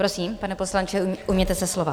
Prosím, pane poslanče, ujměte se slova.